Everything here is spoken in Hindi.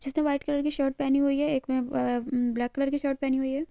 जिस ने वाइट कलर की शर्ट पहनी हुई है एक ने अ-अ-ब्लैक कलर की शर्ट पहनी हुई है।